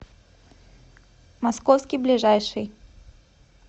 московский ближайший